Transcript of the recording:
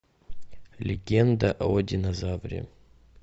легенда о динозавре